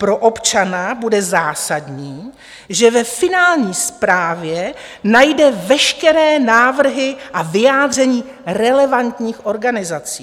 Pro občana bude zásadní, že ve finální zprávě najde veškeré návrhy a vyjádření relevantních organizací.